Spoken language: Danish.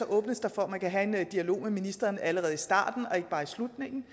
åbnes for at man kan have en dialog med ministeren allerede i starten og ikke bare i slutningen